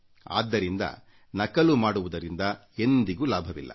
ಆದ್ದರಿಂದ ನಕಲು ಮಾಡುವುದರಿಂದ ಎಂದಿಗೂ ಲಾಭವಿಲ್ಲ